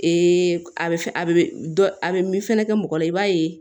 a bɛ fɛn a bɛ dɔ a bɛ min fɛnɛ kɛ mɔgɔ la i b'a ye